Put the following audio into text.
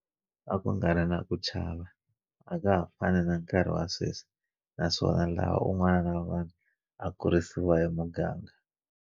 A ku nga ri na ku chava, a ka ha fani na nkarhi wa sweswi, naswona laha un'wana na un'wana a kurisiwa hi muganga.